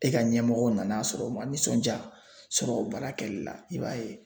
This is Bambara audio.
E ka ɲɛmɔgɔw nan'a sɔrɔ o ma nisɔnja sɔrɔ o baara kɛli la i b'a ye